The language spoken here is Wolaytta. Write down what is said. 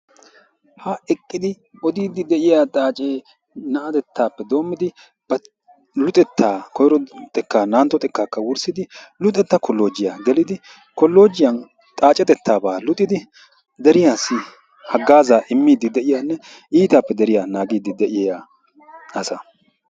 Ha eqqidi oddiidi de'iya xaacce na'atettaappe doommidi ba luxetta koyro xekkkaa n"antto xekkaakka wurssidi luxetta kolloojjiyaa gelidi kolloojjiyan xaaccetettaabaa luxxidi deriyassi hagaazzaa immidi de'iyanne iitaappe deriya naagidi de'iya asa.